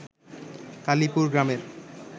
কালিপুর গ্রামের